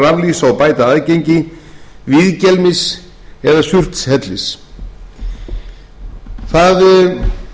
raflýsa og bæta aðgengi víðgelmis eða surtshellis það er